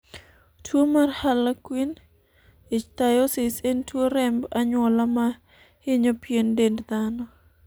tuo mar Harlequin ichthyosis en tuo remb anyuola ma hinyo pien dend dhano